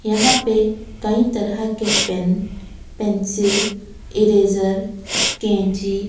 यहां पे कईं तरीके के पेन पेंसिल इरेज़र कैंची--